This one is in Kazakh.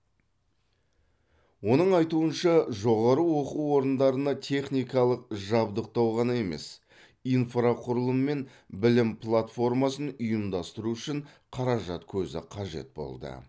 оның айтуынша жоғары оқу орындарына техникалық жабдықтау ғана емес инфрақұрылым мен білім платформасын ұйымдастыру үшін қаражат көзі қажет болды